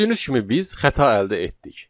Gördüyünüz kimi biz xəta əldə etdik.